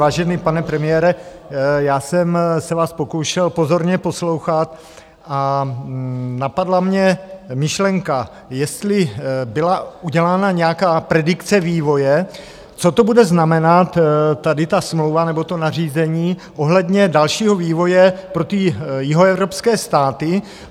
Vážený pane premiére, já jsem se vás pokoušel pozorně poslouchat a napadla mě myšlenka, jestli byla udělána nějaká predikce vývoje, co to bude znamenat, tady ta smlouva nebo to nařízení, ohledně dalšího vývoje pro ty jihoevropské státy.